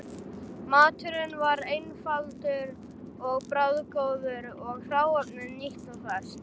Maturinn var einfaldur og bragðgóður og hráefnið nýtt og ferskt.